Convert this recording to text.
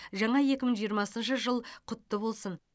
жаңа екі мың жиырмасыншы жыл құтты болсын